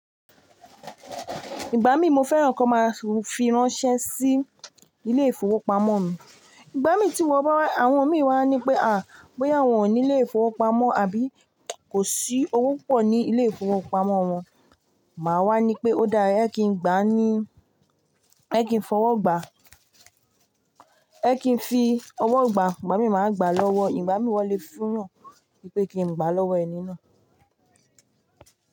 Ìgbà mí mo fẹ́ràn kan wọ́n máa fi ránṣẹ́ sí ilé ìfowópamọ́ mi. Ìgbà mí tí mo bá wá, àwọn mi wá ní pé àh, bóyá awọn ò ní ilé ìfowópamọ́ àbí kò sí owó pupọ̀ ní ilé ìfowópamọ́ wọn. Màá wá ní pé ó da, ẹ je kí ń gbá a ní, ẹ je kí ń fowó gbà, ẹ je kí ń fi ọwọ́ gba, ìgbà mí máa gbà lọ́wọ́, ìgbà mí wọ́n lè fún yan wípé kí n gba lọ́wọ́ ẹni náà.